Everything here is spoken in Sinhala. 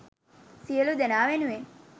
සියලු දෙනා වෙනුවෙන්